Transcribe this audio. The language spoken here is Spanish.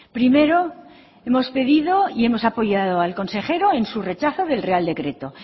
primero hemos pedido y hemos apoyado al consejero en su rechazo del real decreto